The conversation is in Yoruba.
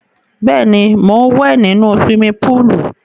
Bẹ́ẹ̀ ni, mò ń wẹ̀ nínu siwimi póòlù.